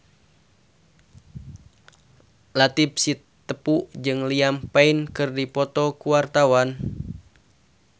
Latief Sitepu jeung Liam Payne keur dipoto ku wartawan